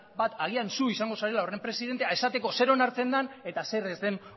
bat agian zuk izango zarela horren presidentea esateko zer onartzen dan eta zer ez den